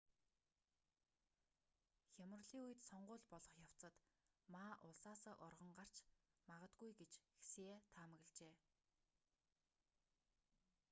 хямралын үед сонгууль болох явцад ма улсаасаа оргон гарч магадгүй гэж хсие таамаглажээ